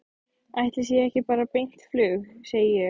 Ætli sé ekki bara beint flug, segi ég.